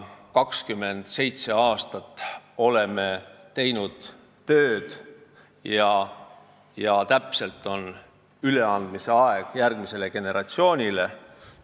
27 aastat oleme tööd teinud ja nüüd on järgmisele generatsioonile üleandmise aeg.